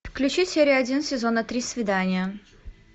включи серию один сезона три свидание